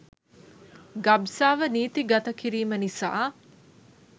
ගබ්සාව නීති ගත කිරීම නිසා